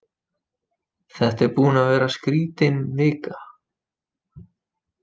Þetta er búin að vera skrítin vika.